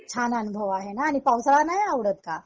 छान अनुभव आहेना आणि पावसाळा नाही आवडत का?